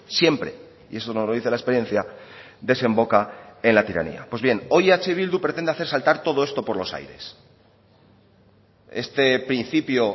siempre y eso nos lo dice la experiencia desemboca en la tiranía pues bien hoy eh bildu pretende hacer saltar todo esto por los aires este principio